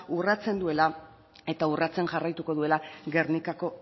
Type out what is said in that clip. urratzen duela eta urratzen jarraituko duela gernikako